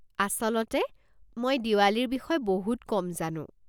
আচলতে, মই দিৱালীৰ বিষয়ে বহুত কম জানো।